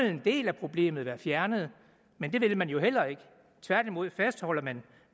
en del af problemet være fjernet men det vil man jo heller ikke tværtimod fastholder man